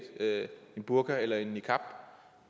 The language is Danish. burka eller en niqab